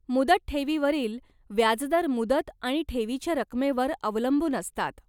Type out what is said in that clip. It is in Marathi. मुदत ठेवीवरील व्याजदर मुदत आणि ठेवीच्या रकमेवर अवलंबून असतात.